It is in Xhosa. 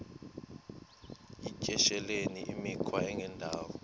yityesheleni imikhwa engendawo